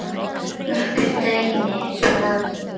Nokkur dæmi er skráð hér